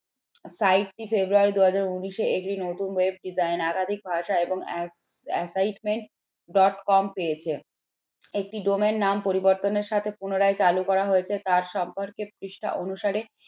February দু হাজার উনিশ এ একটি নতুন web design একাধিক ভাষা এবং dot com পেয়েছে। একটি ডোমের নাম পরিবর্তনের সাথে পুনরায় চালু করা হয়েছে তার সম্পর্কে পৃষ্ঠা অনুসারে